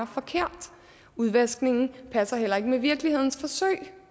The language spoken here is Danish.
forkert udvaskningen passer heller ikke med virkelighedens forsøg